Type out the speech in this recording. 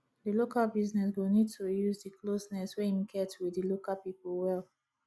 di local business go need to use di closeness wey im get with di local pipo well